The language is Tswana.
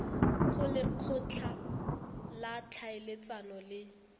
go lekgotla la ditlhaeletsano le